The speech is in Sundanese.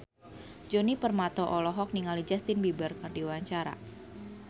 Djoni Permato olohok ningali Justin Beiber keur diwawancara